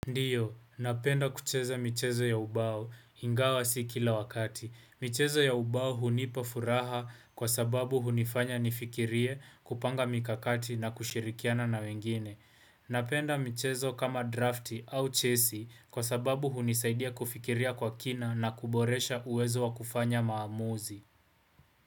Ndio, napenda kucheza michezo ya ubao, ingawa si kila wakati. Michezo ya ubao hunipa furaha kwa sababu hunifanya nifikirie kupanga mikakati na kushirikiana na wengine. Napenda michezo kama drafti au chesi kwa sababu hunisaidia kufikiria kwa kina na kuboresha uwezo wa kufanya maamuzi.